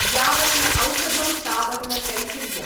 यावन्न औषधं, तावन्न शैथिल्यम्।